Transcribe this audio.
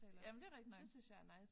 Ja men det er rigtigt nok